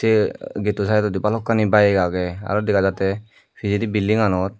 se getto saidodi bhalokkani bayeg agey aro dega jatte pijedi building anot.